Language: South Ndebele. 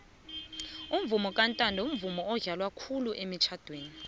umvumo kantando mvumo odlalwa khulu emitjnadweni